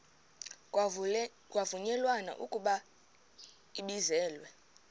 kwavunyelwana ekubeni ibizelwe